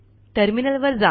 terminal वर जा